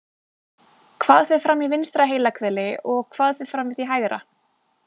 Hvað fer fram í vinstra heilahveli og hvað fer fram í því hægra?